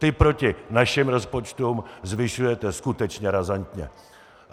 Ty proti našim rozpočtům zvyšujete skutečně razantně.